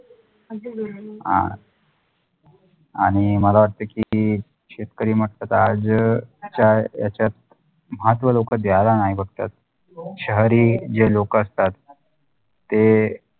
अगधी बरोबर हा आणि मला वाटते की शेतकरी म्हंटल तर आज च्या ह्याच्यात महत्व लोक द्यायला नाही बघतात शहरी जे लोकं असतात ते